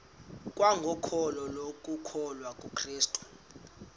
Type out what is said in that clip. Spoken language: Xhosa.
kwangokholo lokukholwa kukrestu